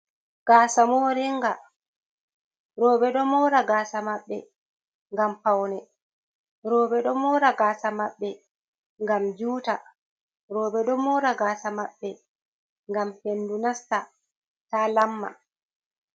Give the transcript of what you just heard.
Gasa moringa roɓe ɗo mora gasa maɓɓe ngam paune roɓe dao mora gasa maɓbe ngam juta roɓe do mora gaasa maɓɓe gam hendu nasta ta lamma.